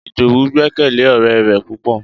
Idowu gbekele ore re pupo